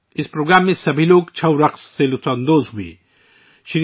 اس programme میں سب نے ' چھاؤ ' رقص کا لطف اٹھایا